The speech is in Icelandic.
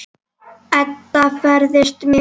Edda ferðast mikið.